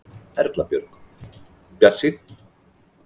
Erla Björg: Bjartsýnn?